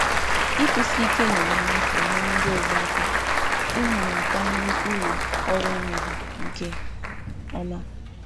Ịnọgide na-agbanwe agbanwe n’àgwà na-enyere ndị ọzọ aka ịhụ ma sọpụrụ uru ọrụ m nke ọma.